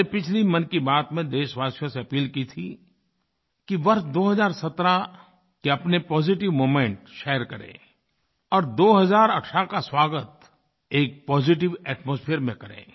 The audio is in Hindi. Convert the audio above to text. मैंने पिछली मन की बात में देशवासियों से अपील की थी कि वर्ष 2017 के अपने पॉजिटिव मोमेंट्स शेयर करें और 2018 का स्वागत एक पॉजिटिव एटमॉस्फियर में करें